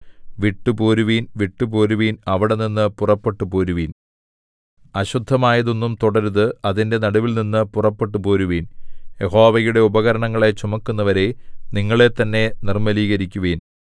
വിട്ടു പോരുവിൻ വിട്ടു പോരുവിൻ അവിടെനിന്നു പുറപ്പെട്ടുപോരുവിൻ അശുദ്ധമായതൊന്നും തൊടരുത് അതിന്റെ നടുവിൽനിന്നും പുറപ്പെട്ടുപോരുവിൻ യഹോവയുടെ ഉപകരണങ്ങളെ ചുമക്കുന്നവരേ നിങ്ങളെത്തന്നെ നിർമ്മലീകരിക്കുവിൻ